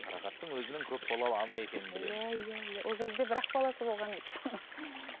қарақаттың өзінің көп балалы ана екенін білеміз иә иә иә ол кезде бір ақ баласы болған еді